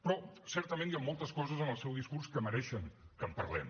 però certament hi han moltes coses en el seu discurs que mereixen que en parlem